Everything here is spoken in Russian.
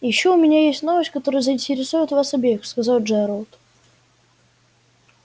и ещё у меня есть новость которая заинтересует вас обеих сказал джералд